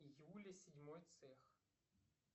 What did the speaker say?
юля седьмой цех